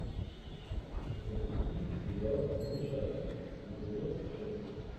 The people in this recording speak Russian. запусти сериал малышарики эпизод шесть